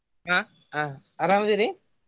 ಆಹ್ ಆಹ್ ಅರಾಮ್ ಅದೇರಿ?